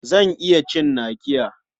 Zan iya cin nakiya.